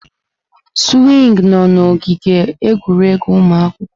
Swingi nọ n'ogige egwuregwu ụmụ akwụkwọ.